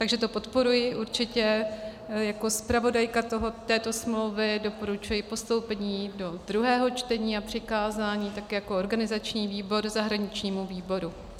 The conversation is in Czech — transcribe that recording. Takže to podporuji určitě, jako zpravodajka této smlouvy doporučuji postoupení do druhého čtení a přikázání tak jako organizační výbor zahraničnímu výboru.